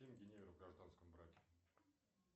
в гражданском браке